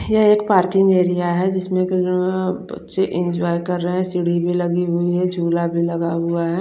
यह एक parking area है जिसमे बच्चे इंजॉय कर रहे है सीडी भी लगी हुई है जुला भी लगा हुआ है।